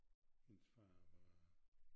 Hendes far var